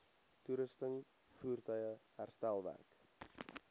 toerusting voertuie herstelwerk